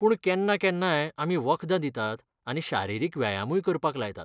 पूण केन्ना केन्नाय आमी वखदां दितात आनी शारिरीक व्यायामूय करपाक लायतात.